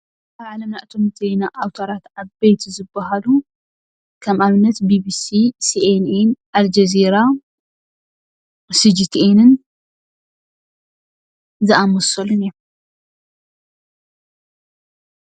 ኣብ ዓለምና እቶም ማዕኸናት ዜና ኣውታራት ዓበይቲ ዝባሃሉ ከም ኣብነት ቢቢሲ፣ ሲኤንኤን ፣ ሴኤንኢ፣ ኣልጀዚራ ፣ ሲጂቲኤንን ዝኣመሰሉን እዮም፡፡